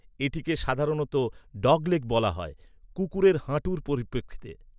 এটিকে সাধারণত 'ডগলেগ' বলা হয়, কুকুরের হাঁটুর পরিপ্রেক্ষিতে।